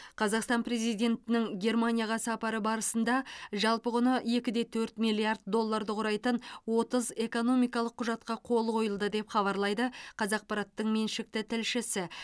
қазақстан президентінің германияға сапары барысында жалпы құны екіде төрт миллиард долларды құрайтын отыз экономикалық құжатқа қол қойылды деп хабарлайды қазақпараттың меншікті тілшісі